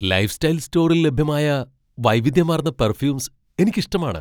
Lifestyle സ്റ്റോറിൽ ലഭ്യമായ വൈവിധ്യമാർന്ന പെർഫ്യൂമ്സ് എനിക്ക് ഇഷ്ടമാണ്.